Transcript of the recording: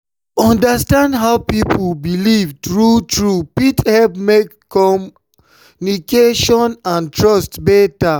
to understand how person believe true-true fit help make communication and trust better.